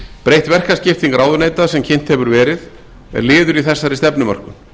breytt verkaskipting ráðuneyta sem kynnt hefur verið er liður í þessari stefnumörkun